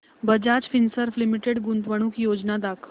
Bajaj Finserv limited गुंतवणूक योजना दाखव